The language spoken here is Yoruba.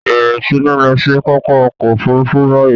Bẹ̀rẹ̀ sí ní lọ sí pápá ọkọ̀-òfurufú báyìí!